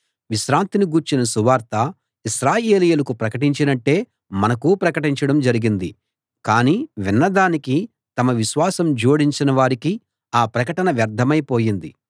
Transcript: విశ్రాంతిని గూర్చిన సువార్త ఇశ్రాయేలీయులకు ప్రకటించినట్టే మనకూ ప్రకటించడం జరిగింది కానీ విన్న దానికి తమ విశ్వాసం జోడించని వారికి ఆ ప్రకటన వ్యర్ధమై పోయింది